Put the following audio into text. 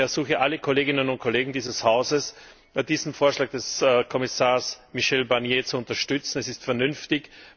Ich ersuche alle Kolleginnen und Kollegen dieses Hauses, diesen Vorschlag des Kommissars Michel Barnier zu unterstützen. Er ist vernünftig.